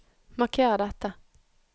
Marker dette